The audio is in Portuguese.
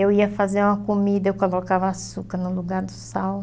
Eu ia fazer uma comida, eu colocava açúcar no lugar do sal.